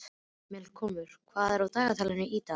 Melkólmur, hvað er í dagatalinu í dag?